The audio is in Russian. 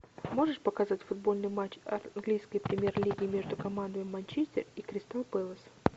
можешь показать футбольный матч английской премьер лиги между командами манчестер и кристал пэлас